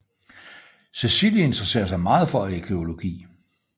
Cecilie interesser sig meget for arkæologi